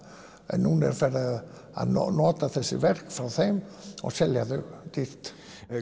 en nú er farið að nota þessi verk frá þeim og selja þau dýrt